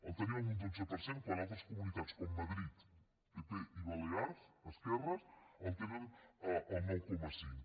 el tenim en un dotze per cent quan altres comunitats com madrid pp i balears esquerres el tenen al nou coma cinc